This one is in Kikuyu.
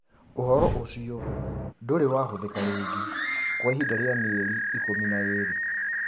Ũhoro ũcio ndũrĩ wahũthĩka rĩngĩ kwa ihinda rĩa mĩeri ikũmi na ĩĩrĩ